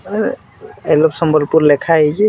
ଅଁ I love Sambalpur ଲେଖା ହେଇଛେ।